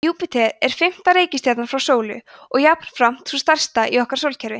júpíter er fimmta reikistjarnan frá sólu og jafnframt sú stærsta í okkar sólkerfi